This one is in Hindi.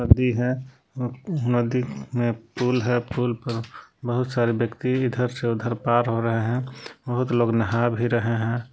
नदी है नदी में पुल है पुल पे बहुत सारे व्यक्ति इधर से उधर पार हो रहे है बहुत लोग नहां भी रहे है।